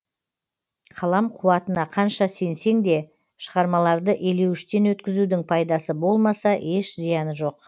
қалам қуатына қанша сенсең де шығармаларды елеуіштен өткізудің пайдасы болмаса еш зияны жоқ